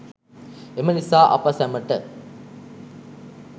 එම නිසා අප සැමට